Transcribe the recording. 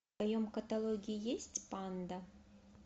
в твоем каталоге есть панда